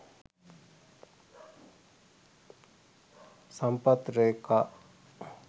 sampath reka